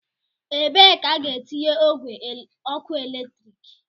ebe ka a ga-etinye ogwe ọkụ eletrik